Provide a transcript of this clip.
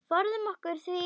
Forðum okkur því.